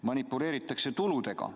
Manipuleeritakse tuludega.